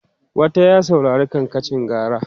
wata ya saurari kankancin gara?